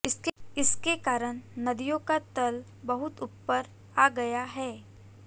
इसके कारण नदियों का तल बहुत ऊपर आ गया है